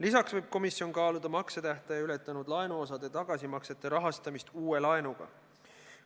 Lisaks võib komisjon kaaluda maksetähtaja ületanud laenuosade tagasimaksete rahastamist uue laenuga.